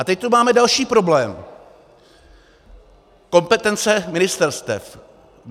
A teď tu máme další problém - kompetence ministerstev.